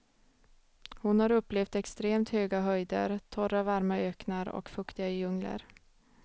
Hon har upplevt extremt höga höjder, torra varma öknar och fuktiga djungler.